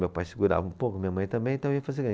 Meu pai segurava um pouco, minha mãe também, então eu ia fazer